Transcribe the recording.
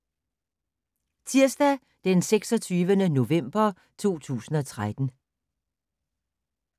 Tirsdag d. 26. november 2013